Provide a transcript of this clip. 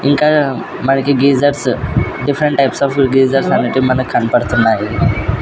ఇంకా మనకి geysers different types of geysers అనేటివి మనకు కన్పడ్తున్నావి.